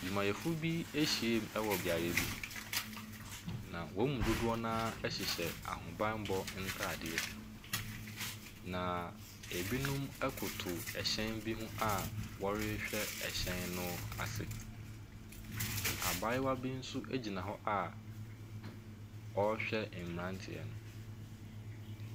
Adwumayɛfo bi ahyiam ɛwɔ beaeɛ bi, na wɔn mu dodoɔ no ara ɛhyehyɛ ahobammɔ ntaadeɛ. Na ɛbinom ɛkoto ɛhyɛn bi ho wɔrehwɛ ɛhyɛn no ase. Abaayewa bi nso ɛgyina hɔ a ɔrehwɛ mmeranteɛ no.